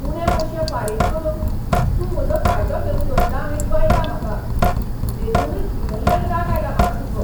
उणे पयशे फारीक करून तूं म्हजो फायदो घेवंक सोदता हें कळटा म्हाका. देखूनच भितल्ल्यान राग आयला म्हाका तुजो.